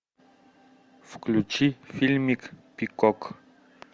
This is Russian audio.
включи фильмик пикок